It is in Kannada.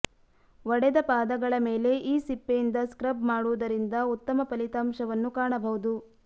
ಒಡೆದ ಪಾದಗಳ ಮೇಲೆ ಈ ಸಿಪ್ಪೆಯಿಂದ ಸ್ಕ್ರಬ್ ಮಾಡುವುದರಿಂದ ಉತ್ತಮ ಫಲಿತಾಂಶವನ್ನು ಕಾಣಬಹುದು